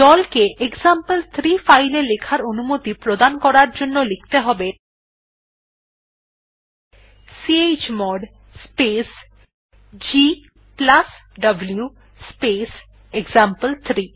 দল কে এক্সাম্পল3 ফাইল এ লেখার অনুমতি প্রদান করার জন্য লিখতে হবে chmod space gw space example three